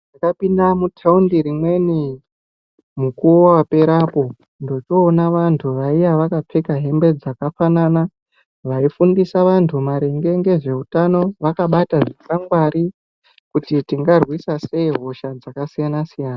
Ndakapinda muthaundi rimweni mukuwo wakapera apo, ndochoona vantu vamweni vaiya vakapfeka hembe dzakafanana. Vaifundisa vantu maringe ngezveutano, vakabata zvikwangwari kuti tingarwisa sei hosha dzakasiyana-siyana.